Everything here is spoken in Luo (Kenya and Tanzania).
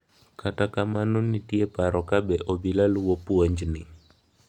Kata kamano nitie paro ka be obila luwo puonjni.